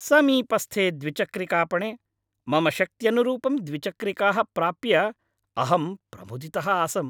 समीपस्थे द्विचक्रिकापणे मम शक्त्यनुरूपं द्विचक्रिकाः प्राप्य अहं प्रमुदितः आसम्।